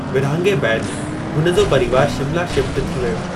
विरहाङे बैदि, हुन जो परिवार शिमला शिफ्ट थी वियो।